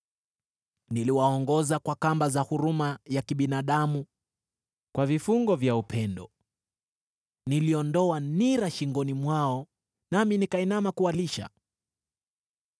Niliwaongoza kwa kamba za huruma ya kibinadamu, kwa vifungo vya upendo; niliondoa nira shingoni mwao nami nikainama kuwalisha.